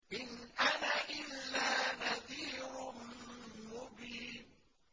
إِنْ أَنَا إِلَّا نَذِيرٌ مُّبِينٌ